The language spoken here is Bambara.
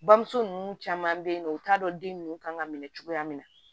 Bamuso ninnu caman be yen nɔ u t'a dɔn den nunnu kan ka minɛ cogoya min na